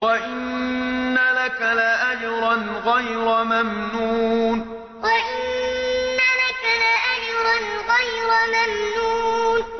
وَإِنَّ لَكَ لَأَجْرًا غَيْرَ مَمْنُونٍ وَإِنَّ لَكَ لَأَجْرًا غَيْرَ مَمْنُونٍ